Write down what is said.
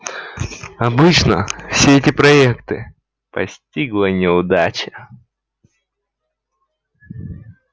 обычно все эти проекты постигала неудача